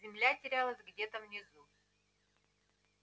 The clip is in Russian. земля терялась где-то внизу